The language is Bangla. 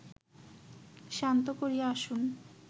শান্ত করিয়া আসুন